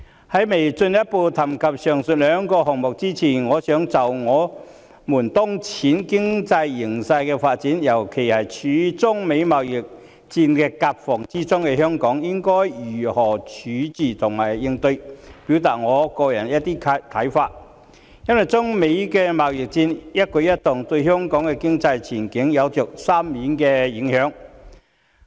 在進一步談及上述兩個項目前，我想就我們當前的經濟形勢發展，尤其是處於中美貿易戰的夾縫中的香港應該如何自處和應對，表達我個人的一些看法，因為中美貿易戰的一舉一動，對香港的經濟前景有着深遠的影響。